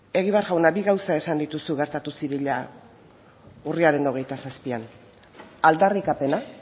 egibar jauna bi gauza esan dituzu gertatu zirela urriaren hogeita zazpian aldarrikapena